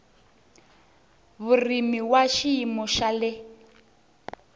vurimi wa xiyimo xa le